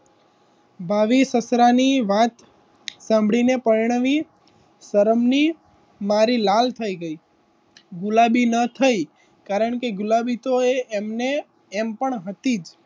ભાવિ સસરાની વાત સાંભડીને પરણાવી સરમની મરી લાલ થઈ ગઈ ગુલાબી ન થઈ તો એ એમને એમ પણ હતી.